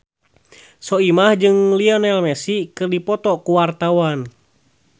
Soimah jeung Lionel Messi keur dipoto ku wartawan